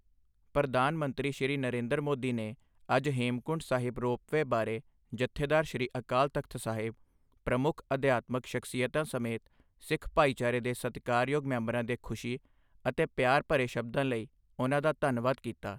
ਪ੍ਰਧਾਨ ਮੰਤਰੀ, ਸ਼੍ਰੀ ਨਰਿੰਦਰ ਮੋਦੀ ਨੇ ਅੱਜ ਹੇਮਕੁੰਡ ਸਾਹਿਬ ਰੋਪਵੇਅ ਬਾਰੇ ਜਥੇਦਾਰ ਸ੍ਰੀ ਅਕਾਲ ਤਖ਼ਤ ਸਾਹਿਬ, ਪ੍ਰਮੁੱਖ ਅਧਿਆਤਮਿਕ ਸ਼ਖ਼ਸੀਅਤਾਂ ਸਮੇਤ ਸਿੱਖ ਭਾਈਚਾਰੇ ਦੇ ਸਤਿਕਾਰਯੋਗ ਮੈਂਬਰਾਂ ਦੇ ਖੁਸ਼ੀ ਅਤੇ ਪਿਆਰ ਭਰੇ ਸ਼ਬਦਾਂ ਲਈ ਉਨ੍ਹਾਂ ਦਾ ਧੰਨਵਾਦ ਕੀਤਾ।